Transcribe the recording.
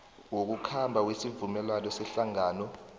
wokukhamba wesivumelwano sehlangano